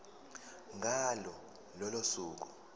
ngalo lolo suku